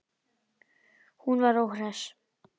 Var hún óhress?